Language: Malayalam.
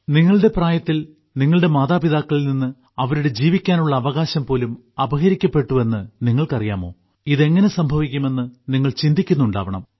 നിങ്ങളുടെ പ്രായത്തിൽ നിങ്ങളുടെ മാതാപിതാക്കളിൽ നിന്ന് അവരുടെ ജീവിക്കാനുള്ള അവകാശം പോലും അപഹരിക്കപ്പെട്ടുവെന്ന് നിങ്ങൾക്കറിയാമോ ഇത് എങ്ങനെ സംഭവിക്കുമെന്ന് നിങ്ങൾ ചിന്തിക്കുന്നുണ്ടാകണം